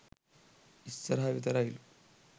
ඉස්සරහ විතරයිලු.